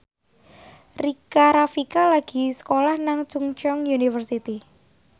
Rika Rafika lagi sekolah nang Chungceong University